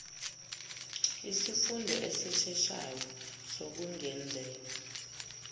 isifundo esisheshayo sokungenzeka